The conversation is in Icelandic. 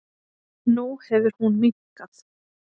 Nú hefur hún minnkað.